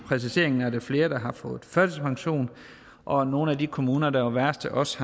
præciseringen er flere der har fået førtidspension og nogle af de kommuner der var værst er også